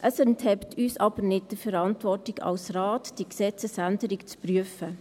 Es enthebt uns als Grosser Rat aber nicht der Verantwortung, diese Gesetzesänderung zu prüfen.